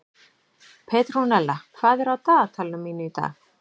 Petrúnella, hvað er á dagatalinu mínu í dag?